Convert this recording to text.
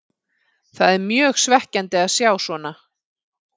Það er mjög svekkjandi að sjá svona.